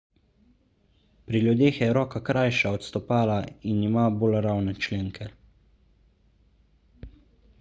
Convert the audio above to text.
pri ljudeh je roka krajša od stopala in ima bolj ravne členke